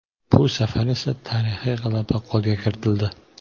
Bu safar esa tarixiy g‘alaba qo‘lga kiritildi.